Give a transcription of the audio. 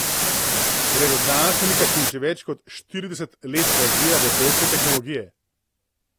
Gre za znanstvenika, ki že več kot štirideset let razvija vesoljske tehnologije.